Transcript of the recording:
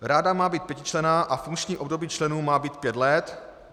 Rada má být pětičlenná a funkční období členů má být pět let.